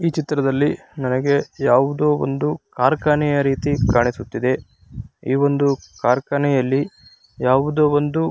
ಈ ಚಿತ್ರದಲ್ಲಿ ನನಗೆ ಯಾವುದೊ ಒಂದು ಕಾರ್ಖಾನೆಯ ರೀತಿ ಕಾಣಿಸುತ್ತಿದೆ ಈ ವೊಂದು ಕಾರ್ಖಾನೆಯಲ್ಲಿ ಯಾವುದೊ ಒಂದು --